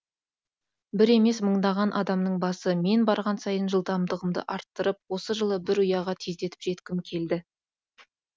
бір емес мыңдаған адамның басы мен барған сайын жылдамдығымды арттырып осы жылы бір ұяға тездетіп жеткім келді